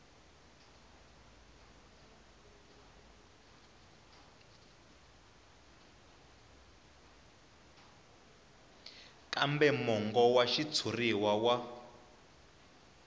kambe mongo wa xitshuriwa wa